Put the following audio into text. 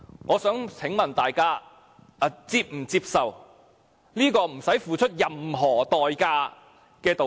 我想請問，大家是否接受這個不用付出任何代價的道歉？